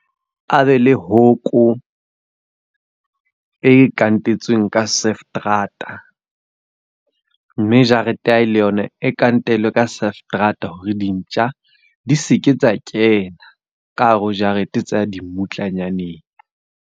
A be le hoko e kantetsweng ka . Mme jarete ya hae le yona e kantelwe ka hore di ntjha di seke tsa kena ka hare ho jarete tsa ya dimmutlanyaneng.